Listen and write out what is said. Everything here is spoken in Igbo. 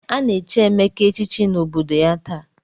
A na-echi Emeka echichi n'obodo ya taa.